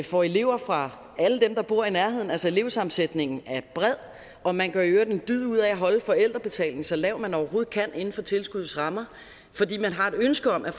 får elever fra alle dem der bor i nærheden altså elevsammensætningen er bred og man gør i øvrigt en dyd ud af at holde forældrebetalingen så lav man overhovedet kan inden for tilskuddets rammer fordi man har et ønske om at